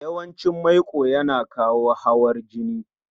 yawan cin maiko yana kawo hawar jini